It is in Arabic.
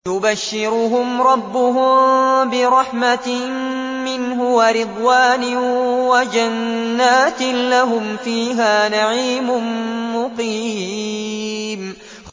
يُبَشِّرُهُمْ رَبُّهُم بِرَحْمَةٍ مِّنْهُ وَرِضْوَانٍ وَجَنَّاتٍ لَّهُمْ فِيهَا نَعِيمٌ مُّقِيمٌ